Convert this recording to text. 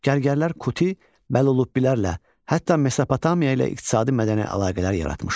Gərgərlər Kuti və Lubilərlə, hətta Mesopotamiya ilə iqtisadi-mədəni əlaqələr yaratmışlar.